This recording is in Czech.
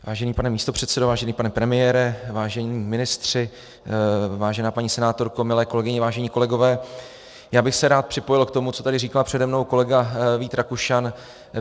Vážený pane místopředsedo, vážený pane premiére, vážení ministři, vážená paní senátorko, milé kolegyně, vážení kolegové, já bych se rád připojil k tomu, co tady říkal přede mnou kolega Vít Rakušan.